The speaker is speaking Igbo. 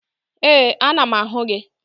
Ee, ana m ahụ gị